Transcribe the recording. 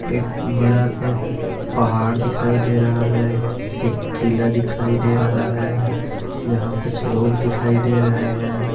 एक बड़ासा पहाड़ दिखाई दे रहा है एक किला दिखाई दे रहा है यहा कुछ लोक दिखाई दे रहे है।